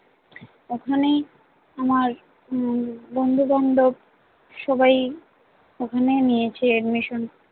ওখানেই আমার উম বন্ধু বান্ধব সবাই ওখানে নিয়েছে admisson